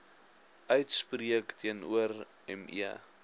uitspreek teenoor me